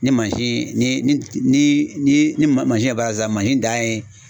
Ni mansin ni ni ni ni mansin ye baara kɛ sisan mansin dan ye